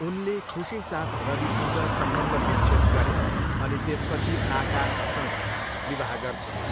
उनले खुसीसाथ रविसँग सम्बन्धविच्छेद गरिन् अनि त्यसपछि आकाशसँग विवाह गर्छिन्।